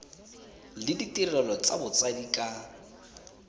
le ditirelo tsa botsadi ka